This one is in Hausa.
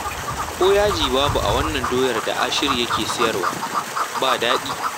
Ko yaji babu a wannan doyar da Ashiru yake sayarwa, ba daɗi